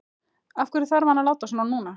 Af hverju þarf hann að láta svona núna?